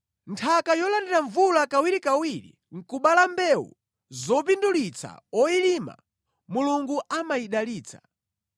Nthaka yolandira mvula kawirikawiri nʼkubala mbewu zopindulitsa oyilima, Mulungu amayidalitsa.